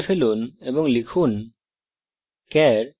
char line মুছে ফেলুন এবং লিখুন